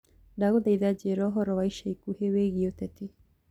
ndagũthaĩtha njĩĩra ũhoro wa ĩca ĩkũhĩ wĩĩgĩe uteti